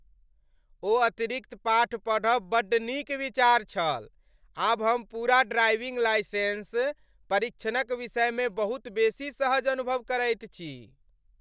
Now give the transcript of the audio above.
ओ अतिरिक्त पाठ पढ़ब बड्ड नीक विचार छल! आब हम पूरा ड्राइविंग लाइसेंस परीक्षणक विषयमे बहुत बेसी सहज अनुभव करैत छी।